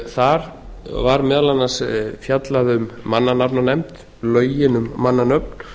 þar var meðal annars fjallað um mannanafnanefnd lögin um mannanöfn